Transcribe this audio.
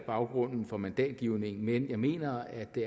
baggrunden for mandatgivningen men jeg mener at det